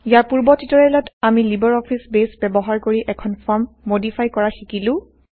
ইয়াৰ পূৰ্ব160টিউটৰিয়েলত আমি libre office base ব্যৱহাৰ কৰি160এখন ফৰ্ম মডিফাই কৰা শিকিলো